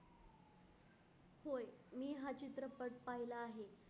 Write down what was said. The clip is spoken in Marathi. मी हा चित्रपट पाहिला आहे.